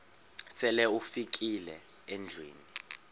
sele ufikile endlwini